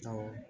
Awɔ